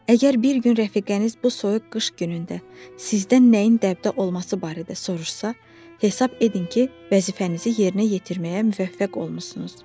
Əgər bir gün rəfiqəniz bu soyuq qış günündə sizdən nəyin dəbdə olması barədə soruşsa, hesab edin ki, vəzifənizi yerinə yetirməyə müvəffəq olmusunuz.